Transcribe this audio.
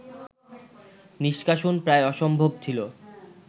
নিষ্কাশন প্রায় অসম্ভব ছিল